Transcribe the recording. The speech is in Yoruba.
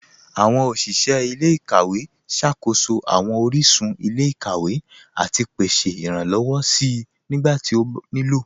Awọn oṣiṣẹ ilẹ̀-ikawẹ̀ ṣákóṣọ awọn oríṣun ilẹ̀-ikawẹ̀ àti pèsè iránlọ́wọ̀ sí nígbàtí ó ní ilọ́.